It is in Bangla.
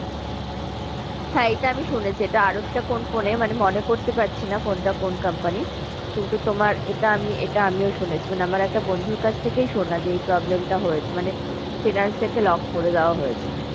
হ্যাঁ এটা আমি শুনেছি এটা আর একটা কোন phone এ মানে মনে করতে পারছি না phone টা কোন company র কিন্তু তোমার এটা আমি এটা আমিও শুনেছি মানে আমার একটা বন্ধুর কাছ থেকেই শোনা যে এই problem টা হয়েছে মানে finance থেকে lock করে দেওয়া হয়েছে।